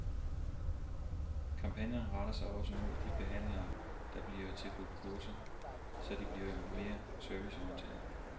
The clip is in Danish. Kampagnen retter sig også mod de handlende, der bliver tilbudt kurser, så de bliver mere serviceorienterede.